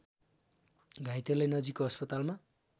घाइतेलाई नजिकको अस्पतालमा